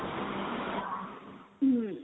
ହୁଁ